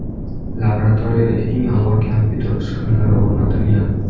Laboratoriyalarga eng ilg‘or kompyuter uskunalari o‘rnatilgan.